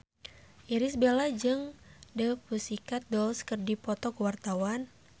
Irish Bella jeung The Pussycat Dolls keur dipoto ku wartawan